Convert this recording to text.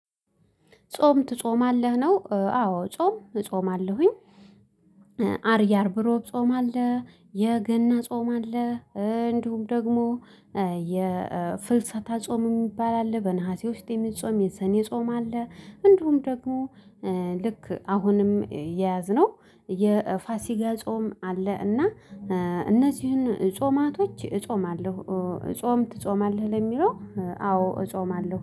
ጾም ትጾማለህ ነው አዎ ጾም እጾማለሁኝ። አርያ አርብ እሮብ ጾም አለ የገና ጾም አለ እንዲሁም ደግሞ የፍልሰታ ጾም የሚባል አለ። በነሀሴ ውስጥ የሚጾም የሰኔ ጾም አለ። እንደውም ደግሞ ልክ አሁንም የያዝነው የፋሲካ ጾም አለ። እና እነዚህን ጾማቶች እጾማለሁ እጾም ትጾማለህ ለሚለው አዎ እጾማለሁ